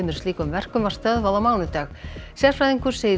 slíkum verkum var stöðvað á mánudag sérfræðingur segir